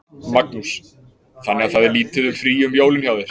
Magnús: Þannig að það er lítið um frí um jólin hjá þér?